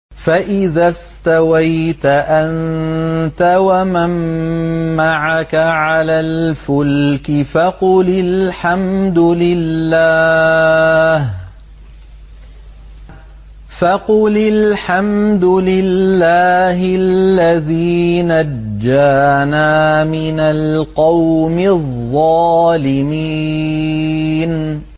فَإِذَا اسْتَوَيْتَ أَنتَ وَمَن مَّعَكَ عَلَى الْفُلْكِ فَقُلِ الْحَمْدُ لِلَّهِ الَّذِي نَجَّانَا مِنَ الْقَوْمِ الظَّالِمِينَ